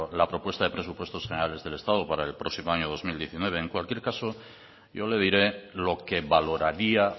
la propuesta de presupuestos generales del estado para el próximo año dos mil diecinueve en cualquier caso yo le diré lo que valoraría